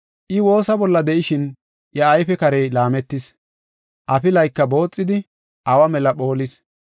I woosa bolla de7ishin iya ayfe karey laametis; afilayka booxidi, awa mela phoolis.